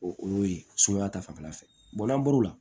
O y'o ye sumaya ta fanfɛla fɛ n'an bɔr'o la